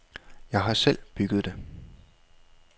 Jeg har selv bygget det.